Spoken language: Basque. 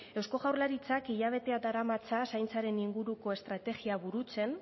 eusko jaurlaritzak hilabeteak daramatza zaintzaren inguruko estrategia burutzen